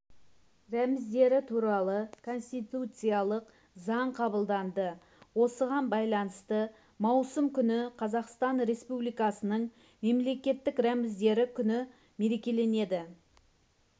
рәміздері туралы конституциялық заң қабылданды осыған байланысты маусым күні қазақстан республикасының мемлекеттік рәміздері күні мерекеленеді